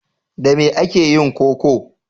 Da me ake yin koko?